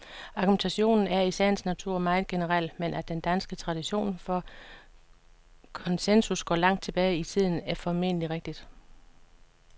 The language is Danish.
Argumentationen er i sagens natur meget generel, men at den danske tradition for konsensus går langt tilbage i tiden, er formentlig rigtigt.